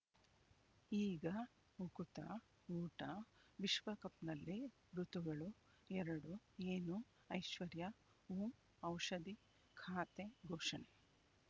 ಈಗ ಉಕುತ ಊಟ ವಿಶ್ವಕಪ್‌ನಲ್ಲಿ ಋತುಗಳು ಎರಡು ಏನು ಐಶ್ವರ್ಯಾ ಓಂ ಔಷಧಿ ಖಾತೆ ಘೋಷಣೆ